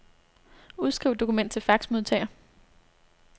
Udskriv dokument til faxmodtager.